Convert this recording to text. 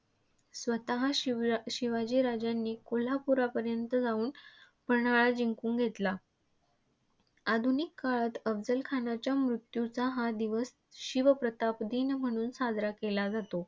स्वतः शिवशिवाजी राजांनी कोल्हापूरापर्यंत जाऊन पन्हाळा जिंकून घेतला. आधुनिक काळात अफझलखानाच्या मृत्यूचा हा दिवस शिवप्रताप दिन म्हणून साजरा केला जातो.